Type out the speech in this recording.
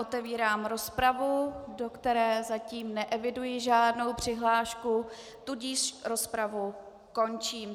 Otevírám rozpravu, do které zatím neeviduji žádnou přihlášku, tudíž rozpravu končím.